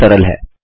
यह सरल है